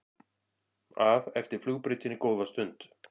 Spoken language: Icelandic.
að eftir flugbrautinni góða stund.